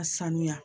A sanuya